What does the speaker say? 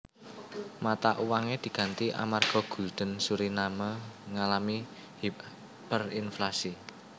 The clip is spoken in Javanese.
Mata uange diganti amarga gulden Suriname ngalami hiperinflasi